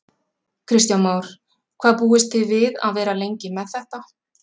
Kristján Már: Hvað búist þið við að vera lengi með þetta?